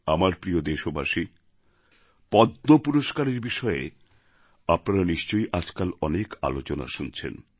আমার প্রিয় দেশবাসী পদ্ম পুরস্কারের বিষয়ে আপনারাও নিশ্চয় আজকাল অনেক আলোচনা শুনছেন